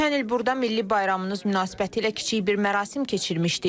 Ötən il burda milli bayramınız münasibətilə kiçik bir mərasim keçirmişdik.